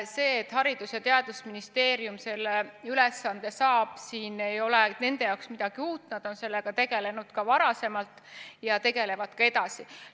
Selles, et Haridus- ja Teadusministeerium selle ülesande saab, ei ole nende jaoks midagi uut – nad on sellega tegelenud varem ja tegelevad ka edaspidi.